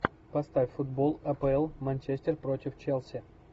поставь футбол апл манчестер против челси